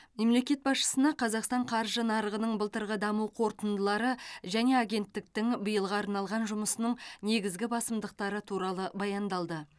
мемлекет басшысына қазақстан қаржы нарығының былтырғы даму қорытындылары және агенттіктің биылға арналған жұмысының негізгі басымдықтары туралы баяндалды